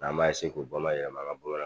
an b'a k'u bamayɛlɛma an ŋa bamanan